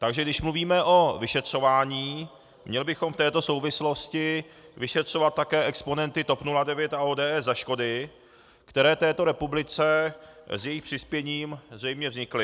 Takže když mluvíme o vyšetřování, měli bychom v této souvislosti vyšetřovat také exponenty TOP 09 a ODS za škody, které této republice s jejich přispěním zřejmě vznikly.